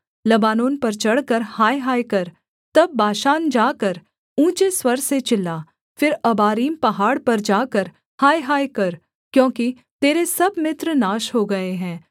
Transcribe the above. Lebanon पर चढ़कर हायहाय कर तब बाशान जाकर ऊँचे स्वर से चिल्ला फिर अबारीम पहाड़ पर जाकर हायहाय कर क्योंकि तेरे सब मित्र नाश हो गए हैं